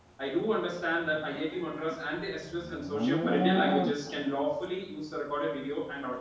Speaker 1 I do understand IIT Madras and സോഷ്യം for Indian languages. Can lawfully user recorded video and audio.